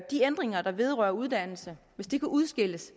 ændringer der vedrører uddannelse hvis de kan udskilles